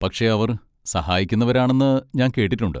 പക്ഷെ അവർ സഹായിക്കുന്നവരാണെന്ന് ഞാൻ കേട്ടിട്ടുണ്ട്.